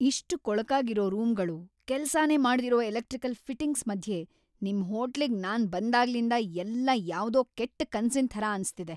ಇಷ್ಟ್‌ ಕೊಳಕಾಗಿರೋ ರೂಮ್‌ಗಳು, ಕೆಲ್ಸನೇ ಮಾಡ್ದಿರೋ ಎಲೆಕ್ಟ್ರಿಕಲ್‌ ಫಿಟಿಂಗ್ಸ್‌ ಮಧ್ಯೆ ನಿಮ್ ಹೋಟ್ಲಿಗ್‌ ನಾನ್‌ ಬಂದಾಗ್ಲಿಂದ ಎಲ್ಲ ಯಾವ್ದೋ ಕೆಟ್‌ ಕನ್ಸಿನ್‌ ಥರ ಅನ್ಸ್ತಿದೆ.